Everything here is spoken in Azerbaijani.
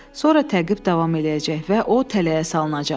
Sonra təqib davam eləyəcək və o tələyə salınacaq.